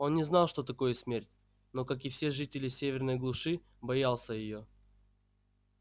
он не знал что такое смерть но как и все жители северной глуши боялся её